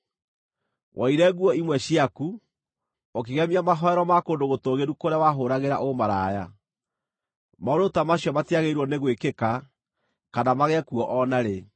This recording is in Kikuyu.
Woire nguo imwe ciaku, ũkĩgemia mahooero ma kũndũ gũtũũgĩru kũrĩa wahũũragĩra ũmaraya. Maũndũ ta macio matiagĩrĩirwo nĩ gwĩkĩka, kana magĩe kuo o na rĩ.